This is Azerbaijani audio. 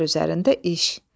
Əsər üzərində iş.